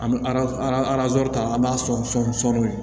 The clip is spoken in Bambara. An bɛ ta an b'a sɔn sɔni